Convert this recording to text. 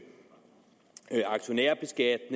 er